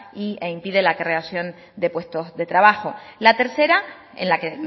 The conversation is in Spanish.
e impide la creación de puestos de trabajo la tercera en la que